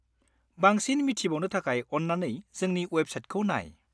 बांसिन मिथिबावनो थाखाय अन्नानै जोंनि वेबसाइटखौ नाय।